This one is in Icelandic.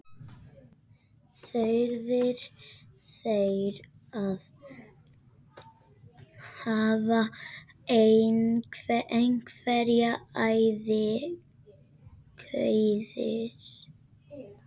Þurfið þið að hafa einhverjar áhyggjur?